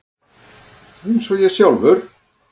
Eins og ég sjálfur.